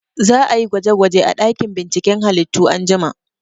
Za a yi gwaje gwaje a ɗakin binciken halittu anjima